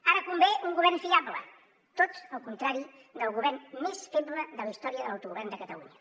ara convé un govern fiable tot el contrari del govern més feble de la història de l’autogovern de catalunya